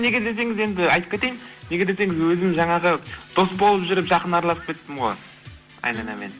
неге десеңіз енді айтып кетейін неге десеңіз өзім жаңағы дос болып жүріп жақын араласып кеттім ғой айданамен